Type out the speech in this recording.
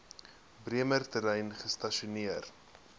bremer terrein gestasioneer